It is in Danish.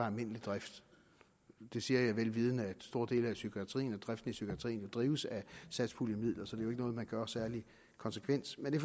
almindelig drift det siger jeg vel vidende at store dele af psykiatrien og driften i psykiatrien drives af satspuljemidler så det er jo ikke noget man gør særlig konsekvent men det